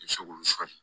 I bɛ se k'olu